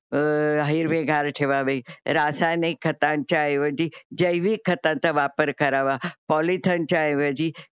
अ हिरेवेगर ठेवावे. रासायनिक खतांच्या ऐवजी जैविक खताचा वापर करावा. पोलीथेनच्या ऐवजी